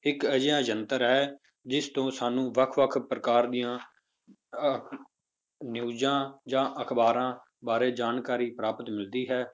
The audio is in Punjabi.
ਇੱਕ ਅਜਿਹਾ ਯੰਤਰ ਹੈ ਜਿਸ ਤੋਂ ਸਾਨੂੰ ਵੱਖ ਵੱਖ ਪ੍ਰਕਾਰ ਦੀਆਂ ਅਹ ਨਿਊਜ਼ਾਂ ਜਾਂ ਅਖ਼ਬਾਰਾਂ ਬਾਰੇ ਜਾਣਕਾਰੀ ਪ੍ਰਾਪਤ ਮਿਲਦੀ ਹੈ